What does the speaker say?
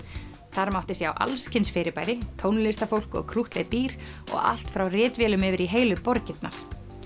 þar mátti sjá alls kyns fyrirbæri tónlistarfólk og krúttleg dýr og allt frá ritvélum yfir í heilu borgirnar